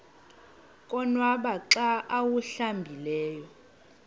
konwaba xa awuhlambileyo